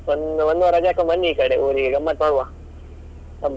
ಒಂದ್~ ಒಂದು ವಾರ ರಜೆ ಹಾಕಿ ಬನ್ನಿ ಈಕಡೆ ಊರಿಗೆ, ಗಮ್ಮತ್ ಮಾಡ್ವ ಹಬ್ಬ ಅಲ್ಲ.